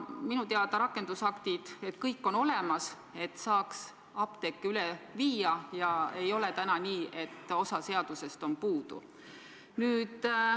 Minu teada on rakendusaktid kõik olemas, et saaks apteeke uutele nõuetele vastavaks muuta, ei ole nii, et osa oleks puudu.